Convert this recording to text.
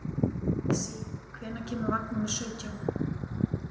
Esí, hvenær kemur vagn númer sautján?